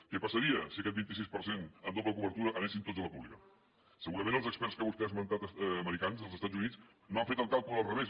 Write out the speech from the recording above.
què passaria si aquest vint sis per cent amb doble cobertura anessin tots a la pública segurament els experts que vostè ha esmentat americans dels estats units no han fet el càlcul al revés